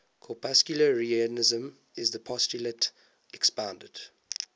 corpuscularianism is the postulate expounded